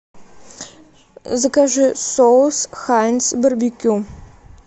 закажи соус хайнц барбекю